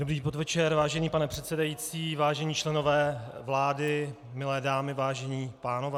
Dobrý podvečer, vážený pane předsedající, vážení členové vlády, milé dámy, vážení pánové.